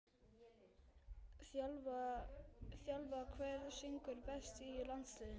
þjálfa Hver syngur best í landsliðinu?